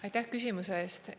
Aitäh küsimuse eest!